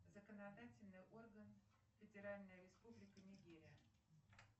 законодательный орган федеральная республика нигерия